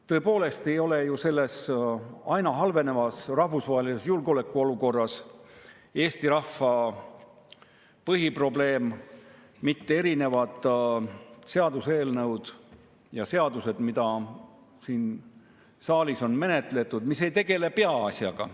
Tõepoolest ei ole ju selles aina halvenevas rahvusvahelises julgeolekuolukorras Eesti rahva põhiprobleem mitte erinevad seaduseelnõud, mida siin saalis on menetletud, aga mis ei tegele peaasjaga.